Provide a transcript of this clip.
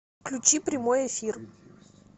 включи прямой эфир